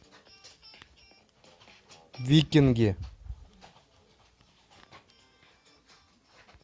викинги